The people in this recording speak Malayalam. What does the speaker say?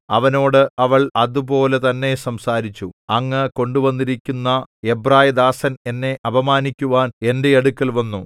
അവനോട് അവൾ അതുപോലെ തന്നെ സംസാരിച്ചു അങ്ങ് കൊണ്ടുവന്നിരിക്കുന്ന എബ്രായദാസൻ എന്നെ അപമാനിക്കുവാൻ എന്റെ അടുക്കൽ വന്നു